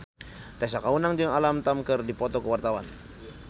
Tessa Kaunang jeung Alam Tam keur dipoto ku wartawan